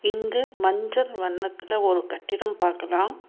இங்கு மஞ்சள் வண்ணத்துல ஒரு கட்டிடம் பாக்கலா.